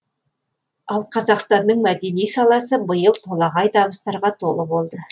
ал қазақстанның мәдени саласы биыл толағай табыстарға толы болды